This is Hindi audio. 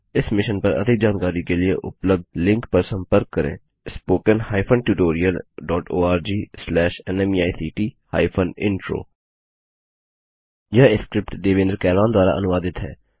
इस मिशन पर अधिक जानकारी के लिए उपलब्ध लिंक पर संपर्क करें httpspoken tutorialorgNMEICT Intro यह स्क्रिप्ट देवेन्द्र कैरवान द्वारा अनुवादित है